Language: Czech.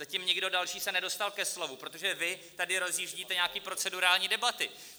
Zatím nikdo další se nedostal ke slovu, protože vy tady rozjíždíte nějaké procedurální debaty.